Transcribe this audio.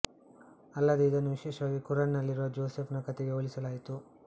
ಅಲ್ಲದೇ ಇದನ್ನು ವಿಶೇಷವಾಗಿ ಖುರಾನ್ ನಲ್ಲಿರುವ ಜೋಸೆಫ್ ನ ಕಥೆಗೆ ಹೋಲಿಸಲಾಯಿತು